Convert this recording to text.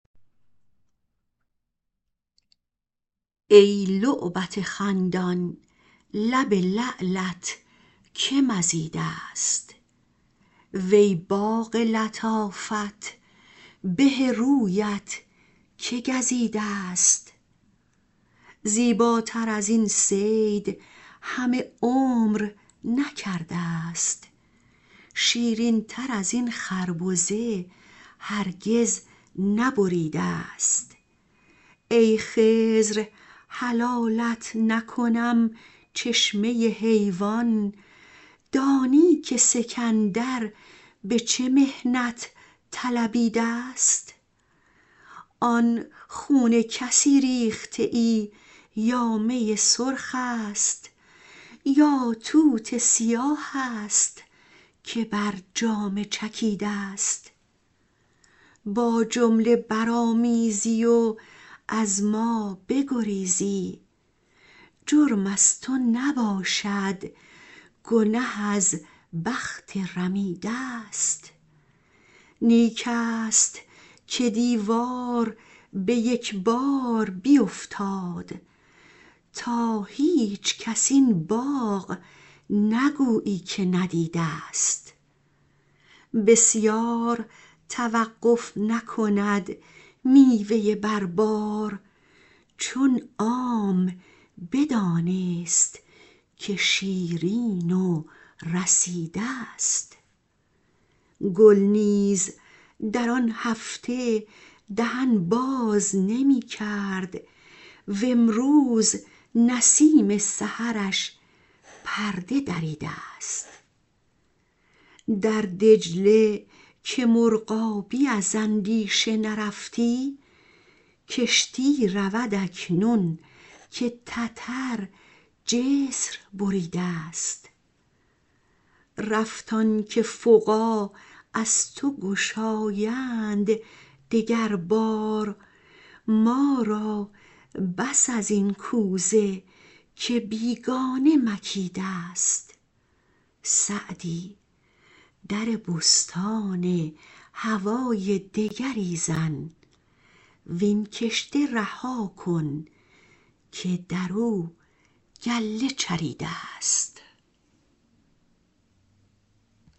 ای لعبت خندان لب لعلت که مزیده ست وی باغ لطافت به رویت که گزیده ست زیباتر از این صید همه عمر نکرده ست شیرین تر از این خربزه هرگز نبریده ست ای خضر حلالت نکنم چشمه حیوان دانی که سکندر به چه محنت طلبیده ست آن خون کسی ریخته ای یا می سرخ است یا توت سیاه است که بر جامه چکیده ست با جمله برآمیزی و از ما بگریزی جرم از تو نباشد گنه از بخت رمیده ست نیک است که دیوار به یک بار بیفتاد تا هیچکس این باغ نگویی که ندیده ست بسیار توقف نکند میوه بر بار چون عام بدانست که شیرین و رسیده ست گل نیز در آن هفته دهن باز نمی کرد وامروز نسیم سحرش پرده دریده ست در دجله که مرغابی از اندیشه نرفتی کشتی رود اکنون که تتر جسر بریده ست رفت آن که فقاع از تو گشایند دگر بار ما را بس از این کوزه که بیگانه مکیده ست سعدی در بستان هوای دگری زن وین کشته رها کن که در او گله چریده ست